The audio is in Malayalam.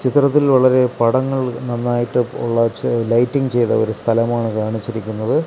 ചിത്രത്തിൽ വളരെ പടങ്ങൾ നന്നായിട്ട് ഉള്ള ലൈറ്റ്റിംഗ് ചെയ്ത ഒരു സ്ഥലമാണ് കാണിച്ചിരിക്കുന്നത്.